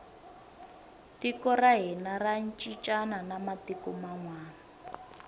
tiko ra hina ra cincana na matiku manwani